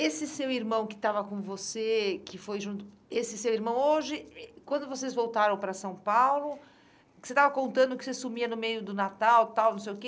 Esse seu irmão que estava com você, que foi junto, esse seu irmão hoje, eh quando vocês voltaram para São Paulo, que você estava contando que você sumia no meio do Natal, tal, não sei o quê.